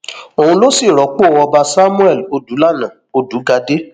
òun ló sì rọpò ọba samuel odùlánà òdùgàdé